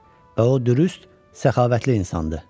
O dürüst, səxavətli insandır.